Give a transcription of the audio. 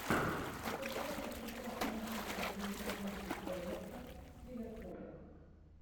футбольная игра английской премьер лиги эвертон с ливерпулем